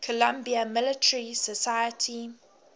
columbia military society